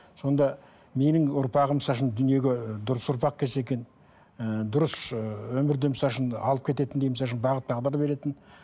сонда менің ұрпағым дүниеге дұрыс ұрпақ келсе екен ыыы дұрыс ы өмірде алып кететіндей бағыт бағдар беретін